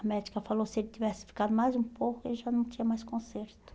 A médica falou que se ele tivesse ficado mais um pouco, ele já não tinha mais conserto.